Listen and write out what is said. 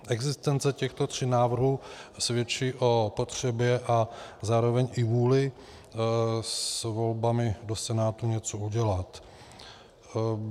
Existence těchto tří návrhů svědčí o potřebě a zároveň i vůli s volbami do Senátu něco udělat.